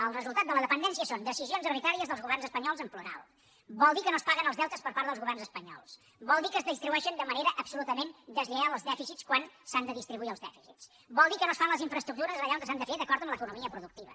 el resultat de la dependència és decisions arbitràries dels governs espanyols en plural vol dir que els governs espanyols no paguen els deutes vol dir que es distribueixen de manera absolutament deslleial els dèficits quan s’han de distribuir els dèficits vol dir que no es fan les infraestructures allà on s’han de fer d’acord amb l’economia productiva